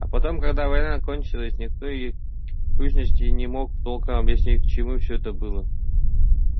а потом когда война кончалась никто и в сущности не мог толком объяснить к чему все это было